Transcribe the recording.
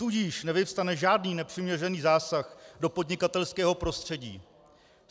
Tudíž nevyvstane žádný nepřiměřený zásah do podnikatelského prostředí.